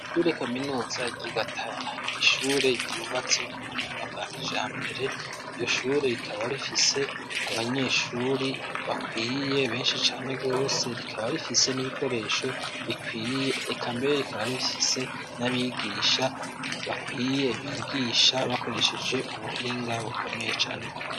Ishure kaminuza ry'i Gatara n'ishure ryubatse ku buhinga bwa kijambere, iryo shure rikaba rifise abanyeshure bakwiye benshi cane gose rikaba rifise n'ibikoresho bikwiye eka mbere rikaba rifise n'abigisha bakwiye bigisha bakoresheje ubuhinga bukomeye cane gose.